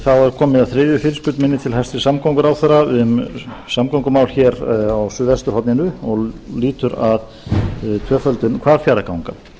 komið að þriðju fyrirspurn minni til hæstvirts samgönguráðherra um samgöngumál hér á suðvesturhorninu og lýtur að tvöföldun hvalfjarðarganga